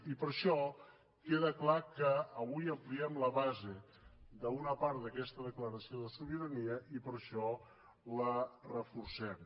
i per això queda clar que avui ampliem la base d’una part d’aquesta declaració de sobirania i per això la reforcem